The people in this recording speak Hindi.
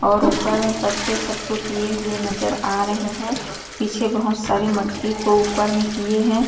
और ऊपर में पत्ते सब को किए हुए नज़र आ रही है पीछे बहुत सारे मटकी को ऊपर में किए है।